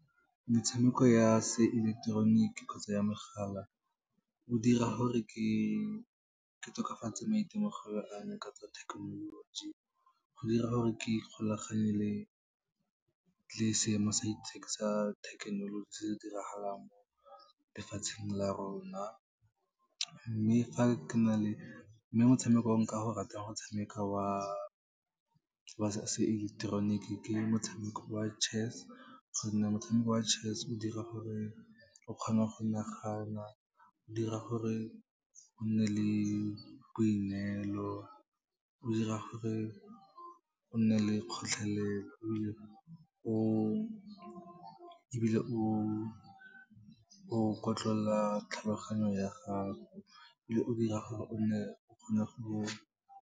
Metshameko ya seileketeroniki kgotsa ya mogala, o dira gore ke tokafatse maitemogelo a me ka tsa thekenoloji, go dira gore ke ikgolaganye le seemo sa thekenoloji se se diragalang mo lefatsheng la rona. Mme motshamekong o nka go ratang go tshameka wa se eleketeroniki ke motshameko wa chess, gonne motshameko wa chess o dira gore o kgone go nagana, o dira gore o nne le boineelo, o dira gore o nne le kgotlhelelo, ebile o kotlolola tlhaloganyo ya gago, ebile o dira gore o nne, o kgone go.